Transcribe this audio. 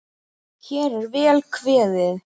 Hér er vel kveðið!